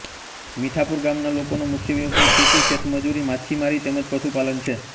મીઠાપુર ગામના લોકોનો મુખ્ય વ્યવસાય ખેતી ખેતમજૂરી માછીમારી તેમ જ પશુપાલન છે